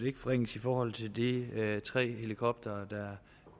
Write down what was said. ikke forringes i forhold til de tre helikoptere